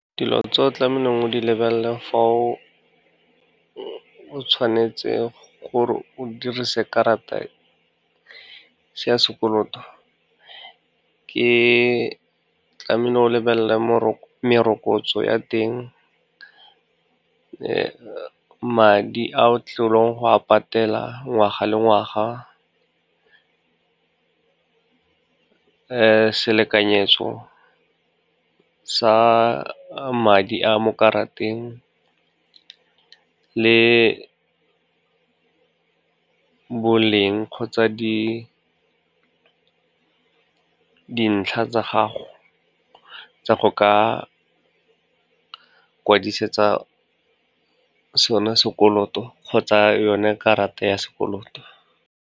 Dilo tse o tlamehileng o di lebelela fa o tshwanetse gore o dirise karata ya sekoloto, tlamehile o lebelela merokotso ya teng, madi a o tlileng go a patela ngwaga le ngwaga, selekanyetso sa madi a mo karateng le boleng kgotsa dintlha tsa gago tsa go ka kwadisetsa sone sekoloto, kgotsa yone karata ya sekoloto.